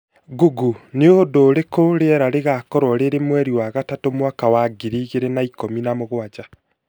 Google nĩ ũndũ ũrĩkũ rĩera rĩgaakorwo rĩrĩ mweri wa gatatũ, mwaka wa ngiri igĩrĩ na ikũmi na mũgwanja